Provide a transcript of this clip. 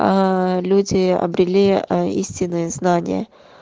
аа люди обрели ээ истинные знания